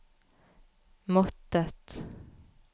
måttet